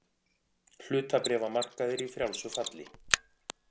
Hlutabréfamarkaðir í frjálsu falli